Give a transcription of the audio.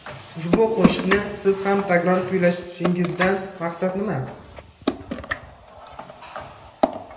Ushbu qo‘shiqni Siz ham takror kuylashingizdan maqsad nima?